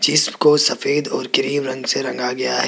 जिसको सफेद और क्रीम रंग से रंगा गया है।